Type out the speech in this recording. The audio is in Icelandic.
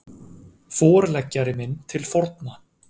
Forleggjari minn til forna